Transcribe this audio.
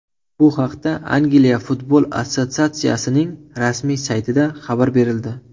Bu haqda Angliya futbol assotsiatsiyasining rasmiy saytida xabar berildi .